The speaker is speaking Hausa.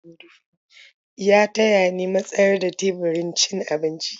Ya taya ni matsar da teburin cin abinci.